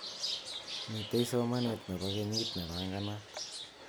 Mitei somanet nebo kenyit nebanganat.